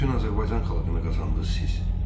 Bütün Azərbaycan xalqını qazandınız siz.